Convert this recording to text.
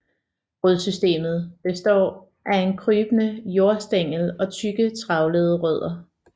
Rodsystemet består af en krybende jordstængel og tykke og trævlede rødder